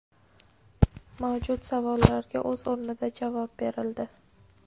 mavjud savollarga o‘z o‘rnida javob berildi.